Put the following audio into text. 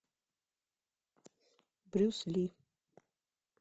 брюс ли